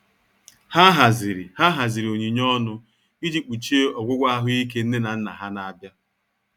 Ha haziri Ha haziri onyinye ọnụ iji kpuchie ọgwụgwọ ahuike nne na nna ha na-abịa.